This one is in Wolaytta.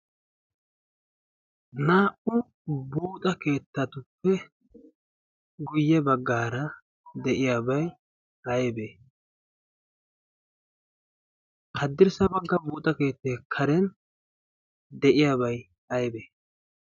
naa'u buuxa keettatuppe guyye baggaara de'iyaabay aybee haddirssa bagga buuxa keetta karen deyiyaabai aybee